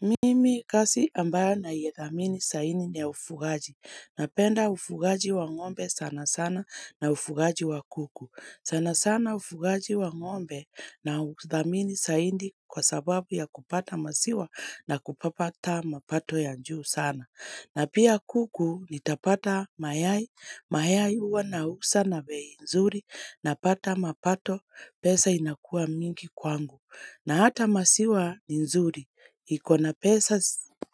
Mimi kazi ambayo ninaidhamini zaidi ni ya ufugaji. Napenda ufugaji wa ng'ombe sana sana na ufugaji wa kuku. Sana sana ufugaji wa ng'ombe na udhamini zaidi kwa sababu ya kupata maziwa na kupata mapato ya njuu sana. Na pia kuku nitapata mayai. Mayai huwa na uza na bei nzuri napata mapato pesa inakua mingi kwangu. Na hata maziwa nzuri ikona pesa